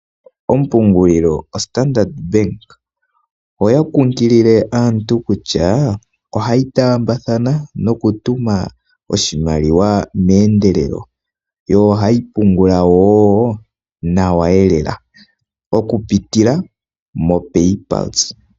Ompungulilo Standard Bank oya kunkilile aantu kutya ohayi taambathana nokutuma oshimaliwa meendelelo. Yo ohayi pungula wo nawa lela, okupitila moPayPulse.